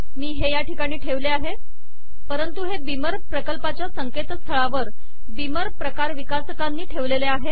मी हे या ठिकाणी ठेवले आहे परंतु हे बीमर प्रकल्पाच्या संकेतस्थळावर बीमर प्रकार विकासकांनी ठेवलेले आहे